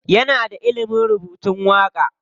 Yana da ilimin rubutun waƙa.